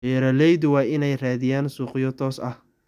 Beeraleydu waa inay raadiyaan suuqyo toos ah.